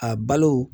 A balo